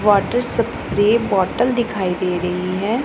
Water spray bottle दिखाई दे रही है।